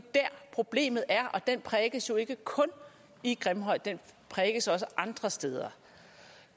problemet er og den prækes jo ikke kun i grimhøj den prækes også andre steder